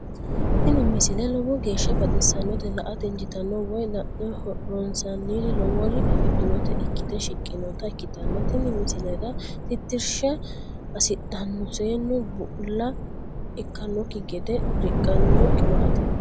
tini misile lowo geeshsha baxissannote la"ate injiitanno woy la'ne ronsannire lowore afidhinota ikkite shiqqinota ikkitanna tini misilera tittirsha hasidhanno seennu bulla ikkannokki gede riqqanno qiwaateeti.